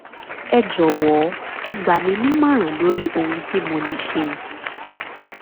ẹ jọ̀wọ́ ẹ gbà mí nímọ̀ràn lórí ohun tí mo lè ṣe